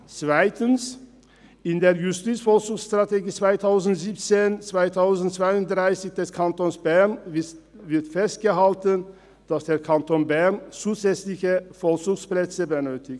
Zweitens: In der Justizvollzugsstrategie 2017–2032 des Kantons Bern wird festgehalten, dass der Kanton Bern zusätzliche Vollzugsplätze benötigt.